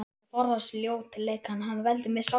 Erum við að tala um eignaraðild?